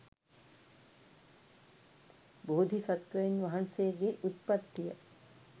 බෝධිසත්වයින් වහන්සේගේ උත්පත්තිය